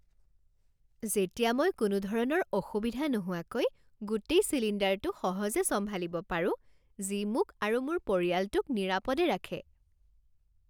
যেতিয়া মই কোনো ধৰণৰ অসুবিধা নোহোৱাকৈ গোটেই চিলিণ্ডাৰটো সহজে চম্ভালিব পাৰোঁ যি মোক আৰু মোৰ পৰিয়ালটোক নিৰাপদে ৰাখে।